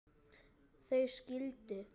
þau skildu.